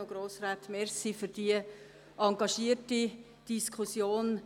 Ich danke Ihnen für die engagierte Diskussion.